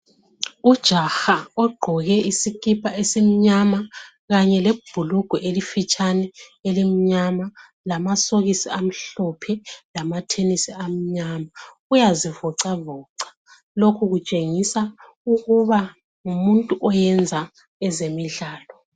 Ujaha ogqoke isikipa esimnyama kanye lebhulugwe elifitshane elimnyama, lamasokisi amhlophe, lamathenisi amnyama. Uyazivoxavoxa. Lokhu kutshengisa ukuthi ngumuntu owenza ezemidlalo.